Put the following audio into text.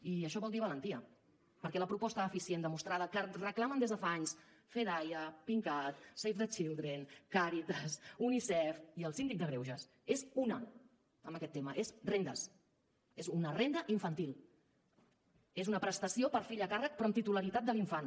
i això vol dir valentia perquè la proposta eficient demostrada que reclamen des de fa anys fedaia pincat save the children càritas unicef i el síndic de greuges és una en aquest tema és rendes és una renda infantil és una prestació per fill a càrrec però amb titularitat de l’infant